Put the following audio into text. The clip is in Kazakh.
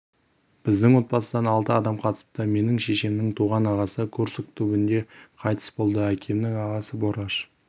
біздің отбасыдан алты адам қатысыпты менің шешемнің туған ағасы курск түбінде қайтыс болды әкемнің ағасы бораш